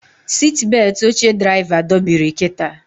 Sitbetị oche draịva dobiri kịta